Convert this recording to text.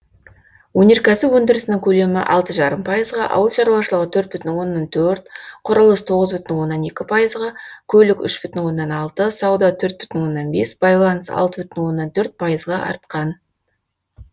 өнеркәсіп өндірісінің көлемі алты жарым пайызға ауыл шаруашылығы төрт бүтін оннан төрт құрылыс тоғыз бүтін оннан екі пайызға көлік үш бүтін оннан алты сауда төрт бүтін оннан бес байланыс алты бүтін оннан төрт пайызға артқан